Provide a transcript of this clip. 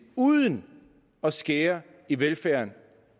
uden at skære i velfærden